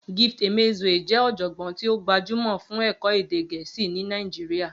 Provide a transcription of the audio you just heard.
Gift Emezue jẹ́ ọ̀jọ̀gbọ́n tí ó gbajúmọ̀ fún ẹ̀kọ́ èdè Gẹ̀ẹ́sì ní Nàìjíríà